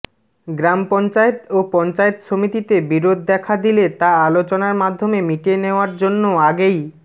গ্রাম পঞ্চায়েত ও পঞ্চায়েত সমিতিতে বিরোধ দেখা দিলে তা আলোচনার মাধ্যমে মিটিয়ে নেওয়ার জন্য আগেই